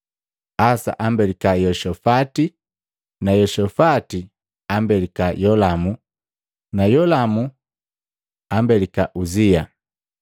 Asa ambelika Yeoshafati na Yeoshafati ambelika Yolamu na Yolamu na Yolamu ambelika Uzia,